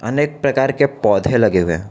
अनेक प्रकार के पौधे लगे हुए हैं।